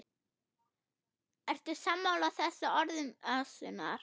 Ertu sammála þessum orðum Össurar?